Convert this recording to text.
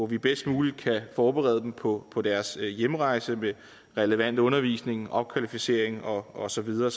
vi bedst muligt kan forberede dem på på deres hjemrejse med relevant undervisning opkvalificering og og så videre